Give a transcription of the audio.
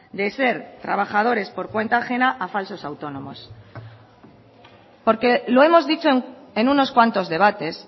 de ser trabajadores por cuenta ajena a falsos autónomos porque lo hemos dicho en unos cuantos debates